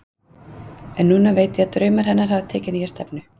En núna veit ég að draumar hennar hafa tekið nýja stefnu.